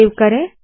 save करे